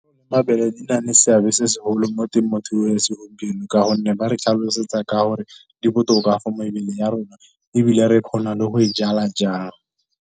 Mabele di na le seabe se segolo mo temothuo ya segompieno, ka gonne ba re tlhalosetsa ka gore di botoka for mebeleng ya rona ebile re kgona le go e jala jang.